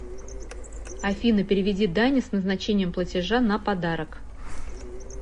афина переведи дане с назначением платежа на подарок